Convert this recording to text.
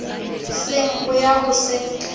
seng ho ya ho se